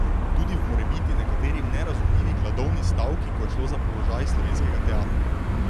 Tudi v morebiti nekaterim nerazumljivi gladovni stavki, ko je šlo za položaj slovenskega teatra.